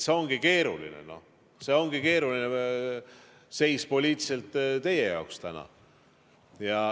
See ongi keeruline, poliitiliselt keeruline seis teil täna.